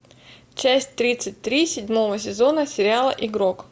часть тридцать три седьмого сезона сериала игрок